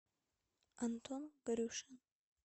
антон горюшин